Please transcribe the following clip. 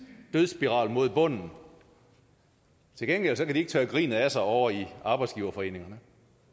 dødsspiral mod bunden til gengæld kan de ikke tørre grinet af sig ovre i arbejdsgiverforeningerne